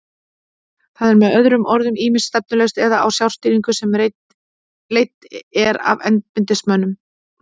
Það er með öðrum orðum ýmist stefnulaust eða á sjálfstýringu sem er leidd af embættismönnum.